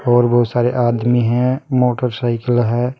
और बहुत सारे आदमी हैं मोटरसाइकिल है।